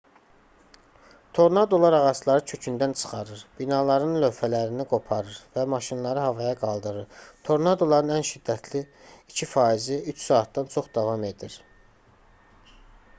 tornadolar ağacları kökündən çıxarır binaların lövhələrini qoparır və maşınları havaya qaldırır tornadoların ən şiddətli 2 faizi üç saatdan çox davam edir